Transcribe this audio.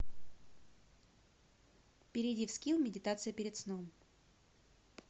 перейди в скилл медитация перед сном